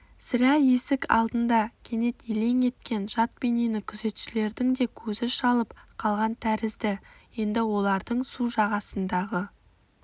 сірә есік алдында кенет елең еткен жат бейнені күзетшілердің де көзі шалып қалған тәрізді енді олардың су жағасындағы